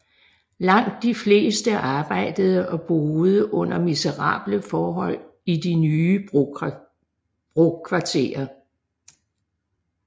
Langt de fleste arbejdede og boede under miserable forhold i de nye brokvarterer